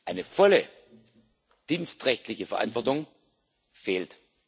Eine volle dienstrechtliche Verantwortung fehlt.